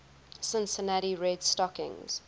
cincinnati red stockings